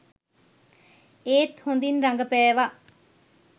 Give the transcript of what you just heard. ඒත් හොඳින් රඟපෑවා.